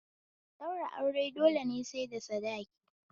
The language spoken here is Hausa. Ɗaura aure dole sai da sadiki